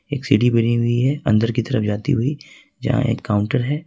एक सीढ़ी बनी हुई है अंदर की तरफ जाती हुई जहां एक काउंटर है।